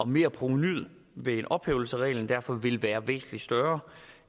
merprovenuet ved ophævelse af reglen derfor ville være væsentlig større